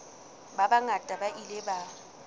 ba bangata ba ile ba